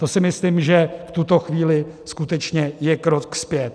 To si myslím, že v tuto chvíli skutečně je krok zpět.